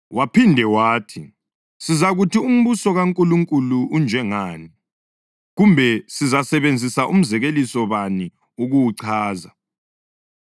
Waphinde wathi, “Sizakuthi umbuso kaNkulunkulu unjengani, kumbe sizasebenzisa umzekeliso bani ukuwuchaza?